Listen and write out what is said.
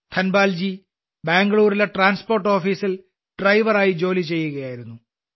ധനപാൽജി ബാംഗ്ലൂരിലെ ട്രാൻസ്പോർട്ട് ഓഫീസിൽ ഡ്രൈവറായി ജോലി ചെയ്യുകയായിരുന്നു